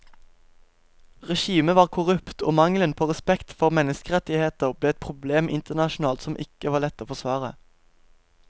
Regimet var korrupt og mangelen på respekt for menneskerettigheter ble et problem internasjonalt som ikke var lett å forsvare.